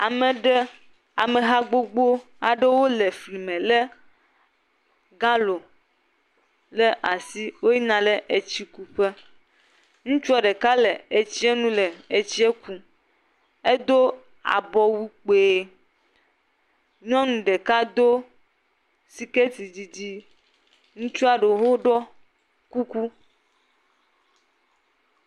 Ame ɖe, ameha gbogbo aɖewo le fli me lé galo ɖe asi, woyina le etsikuƒe. Ŋutsuɔ ɖeka le etsie nu le etsi ku, edo abɔwu kpui, nyɔnu ɖeka do siketi didi, ŋutsua ɖewo ɖɔ kuku.